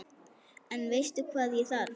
En veistu hvað ég þarf.